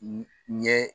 N ɲɛ